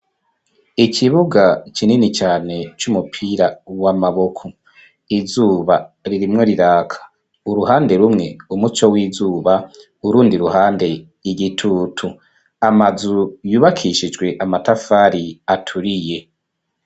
Ikibuga kinini cane c'umupira w'amaboko, izuba ririmwo riraka uruhande rumwe, umuco w'izuba urundi ruhande y'igitutu, amazu yubakishijwe amatafari aturiye.